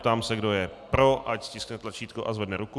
Ptám se, kdo je pro, ať stiskne tlačítko a zvedne ruku.